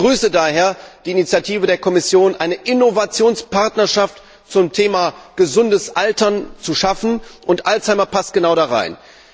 Ich begrüße daher die Initiative der Kommission, eine Innovationspartnerschaft zum Thema gesundes Altern, zu schaffen und Alzheimer passt genau da hinein.